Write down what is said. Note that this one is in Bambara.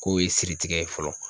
Ko ye siri tigɛ ye fɔlɔ.